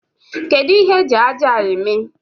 Kedụ ihe eji ájá a eme?